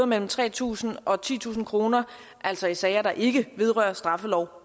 mellem tre tusind og titusind kroner altså i sager der ikke vedrører straffeloven